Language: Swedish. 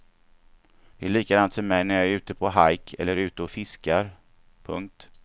Det är likadant för mig när jag är ute på hajk eller ute och fiskar. punkt